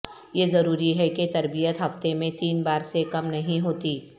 یہ ضروری ہے کہ تربیت ہفتے میں تین بار سے کم نہیں ہوتی